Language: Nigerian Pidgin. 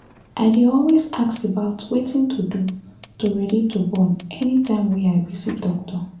i dey always ask about wetin to do to ready to born anytime wey i visit doctor